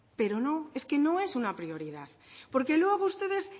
pero no es que no es una prioridad porque luego ustedes